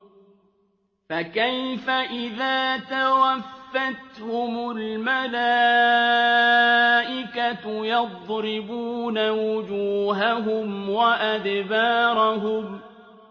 فَكَيْفَ إِذَا تَوَفَّتْهُمُ الْمَلَائِكَةُ يَضْرِبُونَ وُجُوهَهُمْ وَأَدْبَارَهُمْ